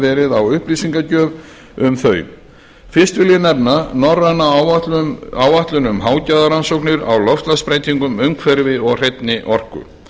verið á upplýsingagjöf um þau fyrst vil ég nefna norræna áætlun um hágæðarannsóknir á loftslagsbreytingum umhverfi og hreinni orku sem lögð